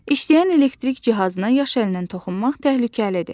İşləyən elektrik cihazına yaş əlinlə toxunmaq təhlükəlidir.